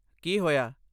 ਕੀ ਹੋਇਆ?